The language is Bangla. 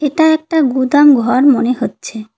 এটা একটা গুদাম ঘর মনে হচ্ছে।